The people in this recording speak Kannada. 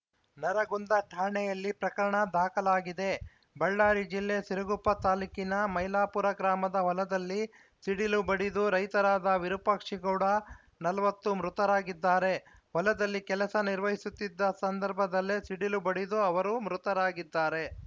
ನರಗುಂದ ಠಾಣೆಯಲ್ಲಿ ಪ್ರಕರಣ ದಾಖಲಾಗಿದೆ ಬಳ್ಳಾರಿ ಜಿಲ್ಲೆ ಸಿರುಗುಪ್ಪ ತಾಲೂಕಿನ ಮೈಲಾಪುರ ಗ್ರಾಮದ ಹೊಲದಲ್ಲಿ ಸಿಡಿಲು ಬಡಿದು ರೈತರಾದ ವಿರುಪಾಕ್ಷಿಗೌಡ ನಲವತ್ತು ಮೃತರಾಗಿದ್ದಾರೆ ಹೊಲದಲ್ಲಿ ಕೆಲಸ ನಿರ್ವಹಿಸುತ್ತಿದ್ದ ಸಂದರ್ಭದಲ್ಲೇ ಸಿಡಿಲು ಬಡಿದು ಅವರು ಮೃತರಾಗಿದ್ದಾರೆ